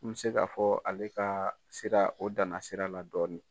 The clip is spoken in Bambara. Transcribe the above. N be se k'a fɔ ale kaa sira o danna sira la dɔɔni.